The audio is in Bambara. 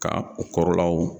Ka o kɔrɔlaw